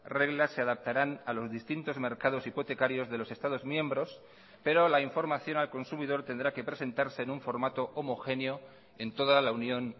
reglas se adaptarán a los distintos mercados hipotecarios de los estados miembros pero la información al consumidor tendrá que presentarse en un formato homogéneo en toda la unión